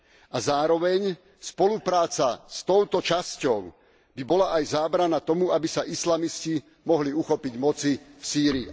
A zároveň, spolupráca s touto časťou by bola aj zábrana tomu, aby sa islamisti mohli uchopiť moci v Sýrii.